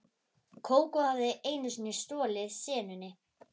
Kókó hafði einu sinni stolið senunni.